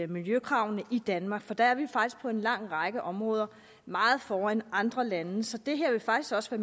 miljøkravene i danmark for der er vi faktisk på en lang række områder meget foran andre lande så det her vil faktisk også